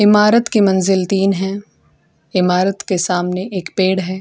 ईमारत के मंजिल तीन है। ईमारत के सामने एक पेड़ है।